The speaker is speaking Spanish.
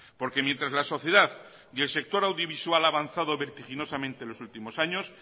porque mientras la sociedad y el sector audiovisual ha avanzado vertiginosamente los últimos años